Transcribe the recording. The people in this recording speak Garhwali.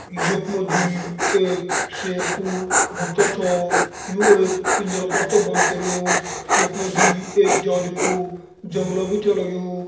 यक मजी एक शेर कू बच्चा छा यु एक पिंजरा पर च बंद करयू। यक मजी एक जाली कू जंगला बि छा लग्यू।